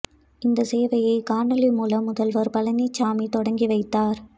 இந்த சேவையை காணொளி மூலம் முதல்வர் பழனிசாமி தொடங்கி வைத்தார்